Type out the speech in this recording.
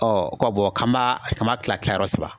ko k'an m'a k'an m'a kila kia yɔrɔ saba